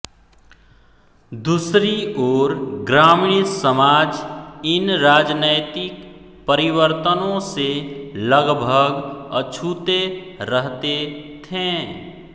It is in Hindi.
दूसरी ओर ग्रामीण समाज इन राजनैतिक परिवर्तनों से लगभग अछूते रहते थे